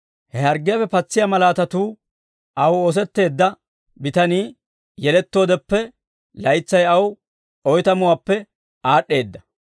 He harggiyaappe patsiyaa malaatatuu aw oosetteedda bitanii yelettoodeppe laytsay aw oytamuwaappe aad'd'eedda.